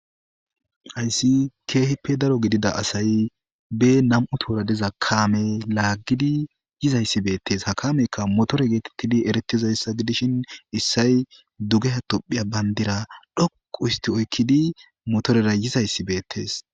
hayssi keehippe daro gidida asay be nam7u toora diza kaame laaggidi yizayssi beettes ha kameykka motore geetettidi eretizayssa gidishin issay dugeha tophiya bayndira dhoqu histi oykkidi motorera yizayssi beettees